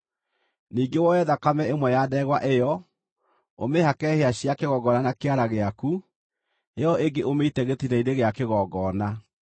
Ningĩ woe thakame ĩmwe ya ndegwa ĩyo, ũmĩhake hĩa cia kĩgongona na kĩara gĩaku, ĩyo ĩngĩ ũmĩite gĩtina-inĩ gĩa kĩgongona.